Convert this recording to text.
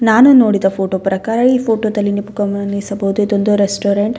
ನಾನು ನೋಡಿದ ಫೋಟೋ ಪ್ರಕಾರ ಈ ಫೋಟೋದಲ್ಲಿ ನಿಪ್ಕ್ ಗಮನಿಸಬಹುದು ಇದೊಂದು ರೆಸ್ಟೋರೆಂಟ್ .